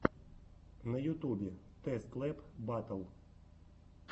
на ютубе тэст лэб батл